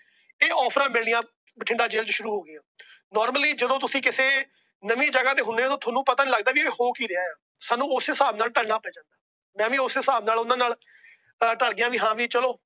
ਇਹ Offers ਮਿਲਨੀਆ Bathinda jail ਚ ਸ਼ੁਰੂ ਹੋ ਗਈਆਂ। Normally ਜਦੋ ਤੁਸੀਂ ਕਿਤੇ ਨਵੀ ਜਗਹ ਤੇ ਹੁਣੇ ਉਹ ਨਾ ਓਦੋ ਤੁਹਾਨੂੰ ਪਤਾ ਨਹੀਂ ਲੱਗਦਾ ਇਹ ਹੋ ਕਿ ਰਿਹਾ। ਸਾਨੂੰ ਉਸੇ ਹਿਸਾਬ ਨਾਲ ਢਲਣਾ ਪੈਂਦਾ। ਮੈ ਵੀ ਉਸੇ ਹਿਸਾਬ ਨਾਲ ਉਹਨਾਂ ਨਾਲ ਢਲ ਗਿਆ ਵੀ ਹਾਂ ਭੀ ਚਲੋ।